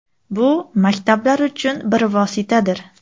Bu maktablar uchun bir vositadir.